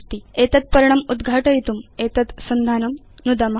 एतत् पर्णम् उद्घाटयितुम् एतत् संधानं नुदाम